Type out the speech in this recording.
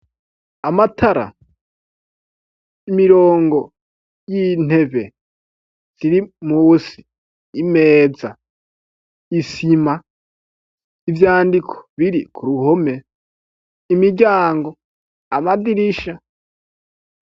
Amatara, imirongo y'intebe ziri musi, imeza, isima, ivyandiko biri ku ruhome, imiryango, amadirisha.